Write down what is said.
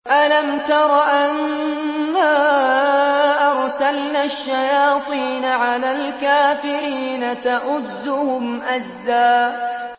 أَلَمْ تَرَ أَنَّا أَرْسَلْنَا الشَّيَاطِينَ عَلَى الْكَافِرِينَ تَؤُزُّهُمْ أَزًّا